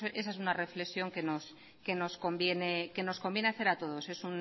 creo que esa es una reflexión que nos conviene hacer a todos